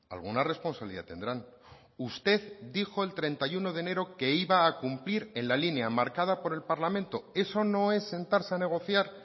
alguna responsabilidad tendrán usted dijo el treinta y uno de enero que iba a cumplir en la línea marcada por el parlamento eso no es sentarse a negociar